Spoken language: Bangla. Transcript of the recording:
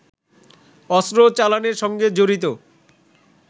অস্ত্র চালানের সঙ্গে জড়িত